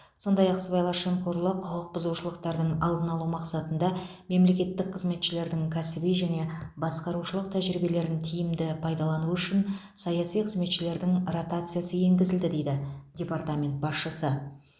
сондай ақ сыбайлас жемқорлық құқықбұзушылықтардың алдын алу мақсатында мемлекеттік қызметшілердің кәсіби және басқарушылық тәжірибелерін тиімді пайдалану үшін саяси қызметшілердің ротациясы енгізілді дейді департамент басшысы